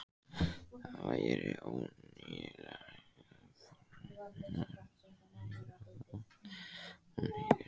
Það væri óneitanlega forvitnilegt að heyra hvað hún heitir.